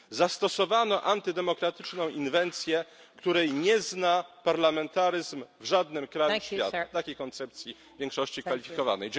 Zastosowano antydemokratyczną inwencję, której nie zna parlamentaryzm w żadnym kraju świata takiej koncepcji większości kwalifikowanej.